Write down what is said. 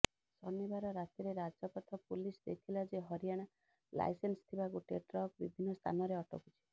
ଶନିବାର ରାତିରେ ରାଜପଥ ପୁଲିସ ଦେଖିଲା ଯେ ହରିୟାଣା ଲାଇସେନ୍ସ୍ ଥିବା ଗୋଟାଏ ଟ୍ରକ୍ ବିଭିନ୍ନ ସ୍ଥାନରେ ଅଟକୁଛି